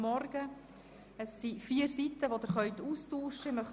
Es handelt sich um vier Seiten, die Sie austauschen können.